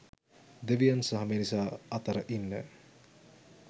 දෙවියන් සහ මිනිසා අතර ඉන්න